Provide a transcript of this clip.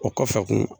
O kɔfɛ kun